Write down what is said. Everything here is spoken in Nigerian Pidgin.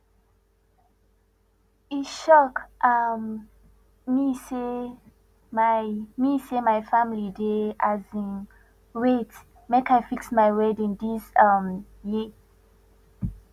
e shock um me sey my me sey my family dey um wait make i fix my wedding dis um year